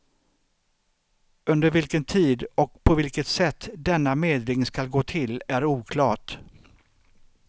Under vilken tid och på vilket sätt denna medling skall gå till är oklart.